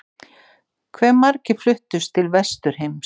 Hve margir fluttust til Vesturheims?